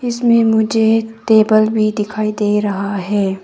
इसमें मुझे एक टेबल भी दिखाई दे रहा है।